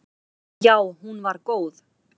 Já hún var góð.